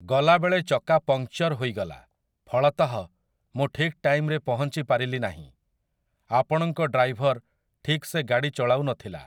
ଗଲାବେଳେ ଚକା ପଙ୍କ୍ଚର୍ ହୋଇଗଲା, ଫଳତଃ, ମୁଁ ଠିକ ଟାଇମରେ ପହଞ୍ଚି ପାରିଲି ନାହିଁ । ଆପଣଙ୍କ ଡ୍ରାଇଭର ଠିକ ସେ ଗାଡ଼ି ଚଲାଉନଥିଲା